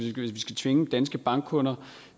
tvinge danske bankkunder